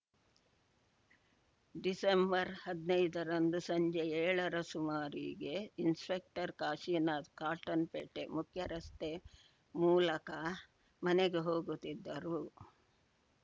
ಡಿಸೆಂಬರ್ಹದ್ನೈದ ರಂದು ಸಂಜೆ ಏಳರ ಸುಮಾರಿಗೆ ಇನ್‌ಸ್ಪೆಕ್ಟರ್‌ ಕಾಶಿನಾಥ್‌ ಕಾಟನ್‌ಪೇಟೆ ಮುಖ್ಯರಸ್ತೆ ಮೂಲಕ ಮನೆಗೆ ಹೋಗುತ್ತಿದ್ದರು